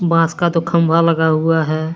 बांस का तो खंभा लगा हुआ है।